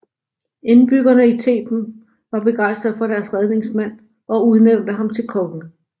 Indbyggerne i Theben var begejstrede for deres redningsmand og udnævnte ham til konge